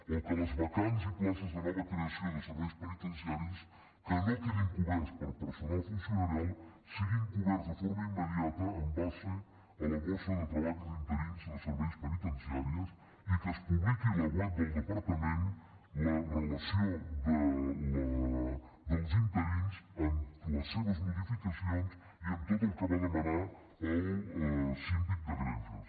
o que les vacants i places de nova creació de serveis penitenciaris que no quedin cobertes per personal funcionarial sigui cobertes de forma immediata en base a la borsa de treball i d’interins de serveis penitenciaris i que es publiqui a la web del departament la relació dels interins amb les seves modificacions i amb tot el que va demanar el síndic de greuges